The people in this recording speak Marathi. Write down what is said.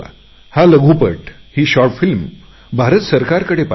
हा लघुपट भारत सरकारकडे पाठवा